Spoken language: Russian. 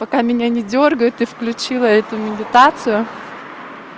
пока меня не дёргают ты включила эту медитацию